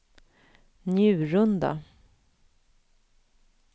Njurunda